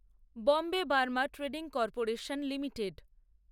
Bombay Burma trading corporation limited